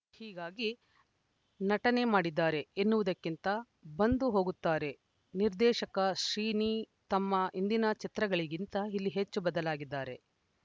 ಹೀಗಾಗಿ ನಟನೆ ಮಾಡಿದ್ದಾರೆ ಎನ್ನುವುದಕ್ಕಿಂತ ಬಂದು ಹೋಗುತ್ತಾರೆ ನಿರ್ದೇಶಕ ಶ್ರೀನಿ ತಮ್ಮ ಹಿಂದಿನ ಚಿತ್ರಗಳಿಗಿಂತ ಇಲ್ಲಿ ಹೆಚ್ಚು ಬದಲಾಗಿದ್ದಾರೆ